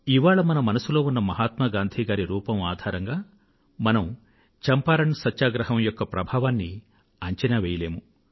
ఇవాళ మన మనసుల్లో ఉన్నమహాత్మా గాంధీ గారి రూపం ఆధారంగా మనం చంపారణ్ సత్యాగ్రహం యొక్క ప్రభావాన్నిఅంచనా వెయ్యలేము